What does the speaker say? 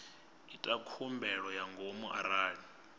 ita khumbelo ya ngomu arali